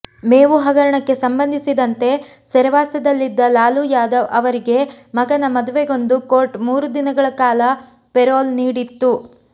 ಮೇವು ಹಗರಣಕ್ಕೆ ಸಂಬಂಧಿಸಿದಂತೆ ಸೆರೆವಾಸದಲ್ಲಿದ್ದ ಲಾಲು ಯಾದವ್ ಅವರಿಗೆ ಮಗನ ಮದುವೆಗೆಂದು ಕೋರ್ಟ್ ಮೂರು ದಿನಗಳ ಕಾಲ ಪೆರೋಲ್ ನೀಡಿತ್ತು